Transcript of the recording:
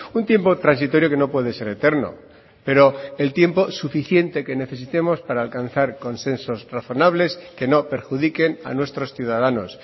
un tiempo transitorio que no puede ser eterno pero el tiempo suficiente que necesitemos para alcanzar consensos razonables que no perjudiquen a nuestros ciudadanos